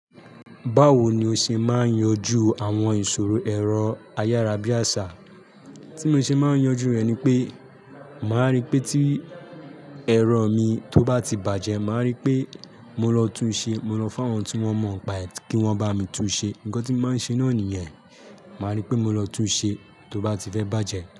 Báwo ni o ṣe máa ń yanjú àwọn ìṣòro ẹ̀rọ ayárabíàṣá? Tí mo ṣe máa ń yanjú rẹ̀ ni pé, màá rí pé tí ẹ̀rọ mi tó bá ti bàjẹ́, màá rí pé mo lọ tún ṣe. Mo lọ fún àwọn tí wón mọ̀ ọ́n paẹ̀ẹ́ kí wọ́n bá mi tún ṣe. Ǹnkàn tí mo maá ń ṣe náà nìyẹn. Màá rí pé mo lọ tún un ṣe tó bá ti fẹ́ bàjẹ́.